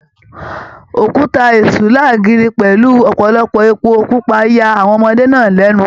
Òkúta Èṣù láàgiri pẹlú ọpọlọpọ èpo pupa yà àwọn ọmọdé náà lẹnu